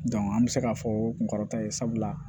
an bɛ se k'a fɔ kun kɔrɔta ye sabula